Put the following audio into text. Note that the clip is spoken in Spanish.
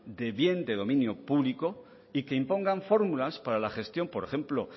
de bien de dominio público y que imponga fórmulas para la gestión por ejemplo